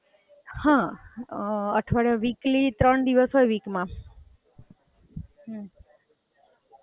હાં, અઠવાડિયા, weekly, ત્રણ દિવસ હોય week માં.